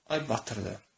Ay batırdı.